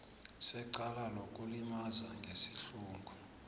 secala lokulimaza ngesihluku